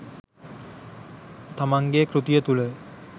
තමන්ගේ කෘතිය තුළ